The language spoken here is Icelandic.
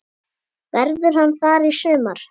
Verður hann þar í sumar?